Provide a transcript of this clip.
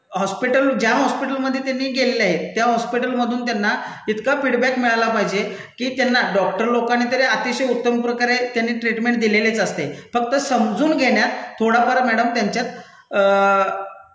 hospital ज्या हॉस्पिटलमधे त्यांनी गेलेले आहेत त्या हॉस्पिटलमधून त्यांना इतका फीडबॅक मिळाला पाहिजे की त्यांना डॉक्टरलोकांनी तरी अतिशय उत्तमप्रकारे त्यांनी ट्रिटमेंट दिलेलीच असतेच फक्त समजून घेण्यात थोडाफार मैडम त्यांच्यात